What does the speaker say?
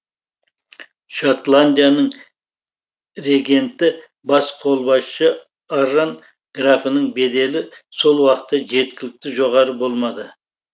шотландияның регенті бас қолбасшы арран графының беделі сол уақытта жеткілікті жоғары болмады